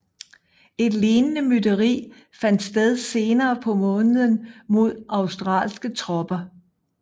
Et lignende mytteri fandt sted senere på måneden mod australske tropper